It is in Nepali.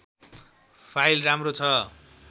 फाइल राम्रो छ